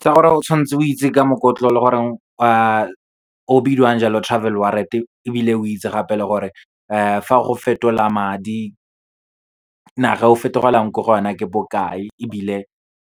Tsa gore o tshwanetse o itse ka mokotlo o leng gore o bidiwang jalo Travel Wallet-e, ebile o itse gape le gore fa o go fetola madi, naga e o fetogelang ko go yona ke bokae, ebile